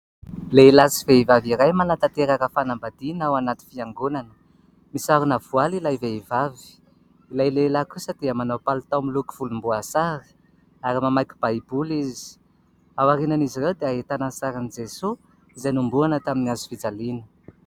Lehilahy sy vehivavy iray manatanteraka fanambadiana ao anaty fiangonana, misarona voaly ilay vehivavy, ilay lehilahy kosa dia manao palitao miloko volomboasary ary mamaky baiboly izy, aorianan'izy ireo dia ahitana ny sarin'i Jesoa izay nohomboana tamin'ny hazofijaliana.